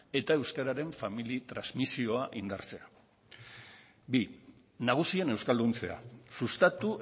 eta euskararen familia transmisioa indartzea bi nagusien euskalduntzea sustatu